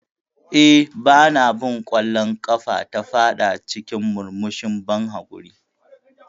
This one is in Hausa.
Eh, Ba na bin ƙwallon ƙafa, ta fada cikin murmushin ban haƙuri.